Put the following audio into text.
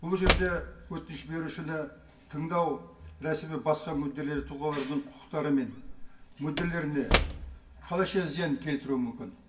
бұл жерде өтініш берушіні тыңдау рәсімі басқа мүдделі тұлғалардың құқықтары мен мүдделеріне қалайша зиян келтіруі мүмкін